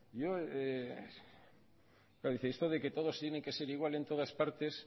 yo claro dice esto de que todo tiene que ser igual en todas partes